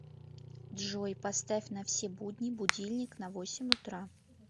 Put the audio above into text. джой поставь на все будни будильник на восемь утра